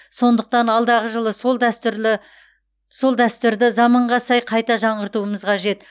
сондықтан алдағы жылы сол дәстүрлі сол дәстүрді заманға сай қайта жаңғыртуымыз қажет